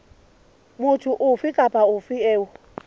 motho ofe kapa ofe eo